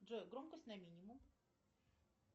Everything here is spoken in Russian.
джой громкость на минимум